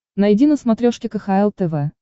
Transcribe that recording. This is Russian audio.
найди на смотрешке кхл тв